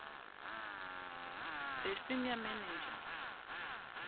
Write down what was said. the senior manager